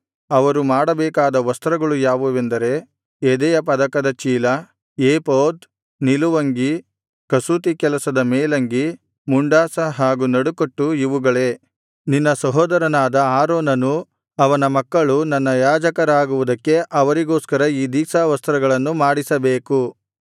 ಅವರು ಮಾಡಬೇಕಾದ ವಸ್ತ್ರಗಳು ಯಾವುವೆಂದರೆ ಎದೆಯ ಪದಕದ ಚೀಲ ಏಫೋದ್ ನಿಲುವಂಗಿ ಕಸೂತಿ ಕೆಲಸದ ಮೇಲಂಗಿ ಮುಂಡಾಸ ಹಾಗೂ ನಡುಕಟ್ಟು ಇವುಗಳೇ ನಿನ್ನ ಸಹೋದರನಾದ ಆರೋನನೂ ಅವನ ಮಕ್ಕಳೂ ನನ್ನ ಯಾಜಕರಾಗುವುದಕ್ಕೆ ಅವರಿಗೋಸ್ಕರ ಈ ದೀಕ್ಷಾವಸ್ತ್ರಗಳನ್ನು ಮಾಡಿಸಬೇಕು